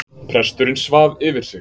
Presturinn svaf yfir sig